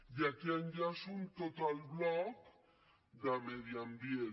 i aquí enllaço amb tot el bloc de medi ambient